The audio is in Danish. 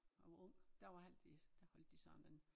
Jeg var ung der altid der holdte de sådan en